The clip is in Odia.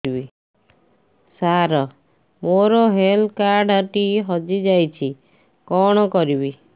ସାର ମୋର ହେଲ୍ଥ କାର୍ଡ ଟି ହଜି ଯାଇଛି କଣ କରିବି